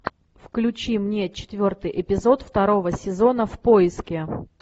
включи мне четвертый эпизод второго сезона в поиске